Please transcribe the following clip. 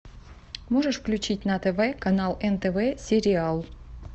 можешь включить на тв канал нтв сериал